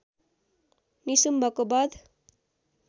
निशुम्भको बध